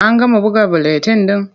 An gama buga buletin ɗin?